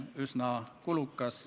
Tänan!